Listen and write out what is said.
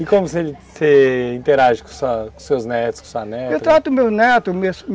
E como você, você interage com seus netos, com sua neta? Eu trato meus netos